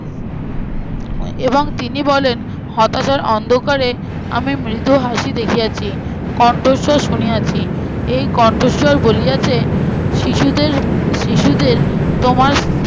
এর এবং তিনি বলেন হতাশার অন্ধকারে আমি মৃদু হাসি দেখিয়াছি কণ্ঠস্বর শুনিয়াছি, এই কণ্ঠস্বর বলিয়াছে শিশুদের শিশুদের তোমার